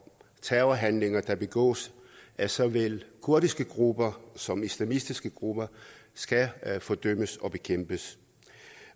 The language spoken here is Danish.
terrorhandlinger der begås af såvel kurdiske grupper som islamistiske grupper skal fordømmes og bekæmpes